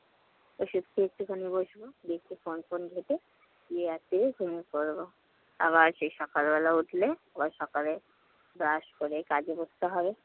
ঔষধ খেয়ে একটুখানি বসব ঢেকে গিয়ে একেবারে ঘুমিয়ে পরব। আবার সে সকালবেলা উঠলে আবার সকালে brush করে কাজে বসতে হবে।